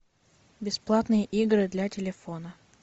бесплатные игры для телефона